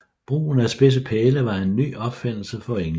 Brugen af spidsede pæle var en ny opfindelse for englænderne